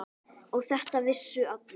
Og þetta vissu allir.